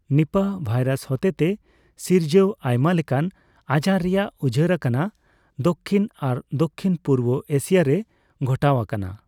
ᱱᱤᱯᱟᱦ virus ᱦᱚᱛᱮ ᱛᱮ ᱥᱤᱨᱡᱟᱣ ᱟᱭᱢᱟ ᱞᱮᱠᱟᱱ ᱟᱡᱟᱨ ᱨᱮᱭᱟᱜ ᱩᱡᱷᱟᱹᱨ ᱟᱠᱟᱱᱟ ᱫᱚᱠᱷᱤᱱ ᱟᱨ ᱫᱚᱠᱷᱤᱱ ᱯᱩᱨᱵᱚ ᱮᱥᱤᱭᱟ ᱨᱮ ᱜᱷᱚᱴᱟᱣ ᱟᱠᱟᱱᱟ ᱾